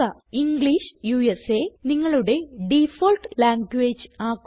English നിങ്ങളുടെ default language ആക്കുക